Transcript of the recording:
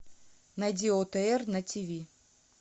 найди отр на ти ви